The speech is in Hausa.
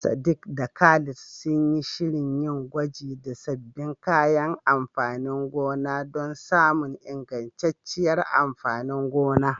Sadiq da Khalid sun yi shirin yin gwaji da sabbin kayan amfanin gona don samun ingantacciyar amfanin gona.